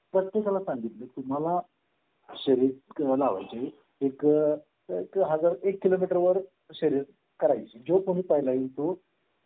त्याच्यावर डिस्कशन होता त्याप्रमाणे आम्ही आता जेव्हा करून होऊन गेला तेव्हा आम्ही आह शाळेमध्ये अर्थात बेसिक गोष्टी होत्याच. राधा अजूनही आहेत पण आम्ही त्यांना सजेस्ट केलं की